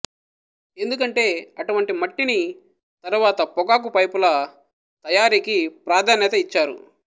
ఎందుకంటే అటువంటి మట్టిని తరువాత పొగాకు పైపుల తయారీకి ప్రాధాన్యత ఇచ్చారు